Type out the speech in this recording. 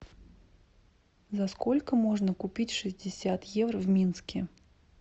за сколько можно купить шестьдесят евро в минске